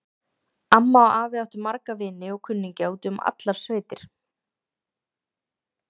Afi og amma áttu marga vini og kunningja úti um allar sveitir.